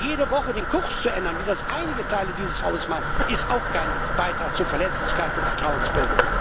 Aber jede Woche den Kurs zu ändern wie das einige Teile dieses Hauses machen ist auch kein Beitrag zur Verlässlichkeit und Vertrauensbildung.